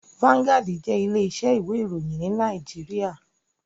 Vanguard jé ilé isẹ́ ìwé ìròyìn ní Naijiria